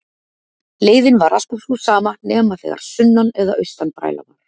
Leiðin var alltaf sú sama nema þegar sunnan- eða austanbræla var.